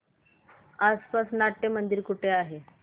आसपास नाट्यमंदिर कुठे आहे